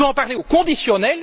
Vous en parlez au conditionnel